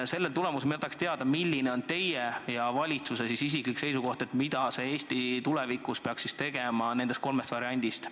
Ma tahaks teada, milline on isiklikult teie ja valitsuse seisukoht, mida Eesti tulevikus peaks tegema nendest kolmest variandist.